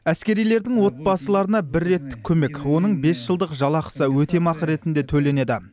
әскерилердің отбасыларына бір реттік көмек оның бес жылдық жалақысы өтемақы ретінде төленеді